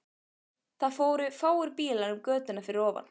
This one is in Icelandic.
Það fóru fáir bílar um götuna fyrir ofan.